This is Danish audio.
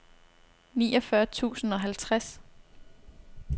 niogfyrre tusind og halvtreds